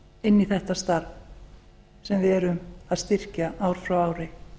inn í þetta starf sem við erum að styrkja ár frá ári